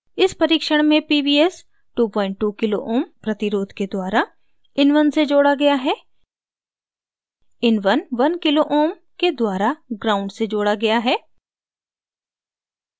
इस परीक्षण में pvs 22 kω kilo ohms प्रतिरोध के द्वारा in1 से जोड़ा गया है in1 1kω kilo ohms के द्वारा ground gnd से जोड़ा गया है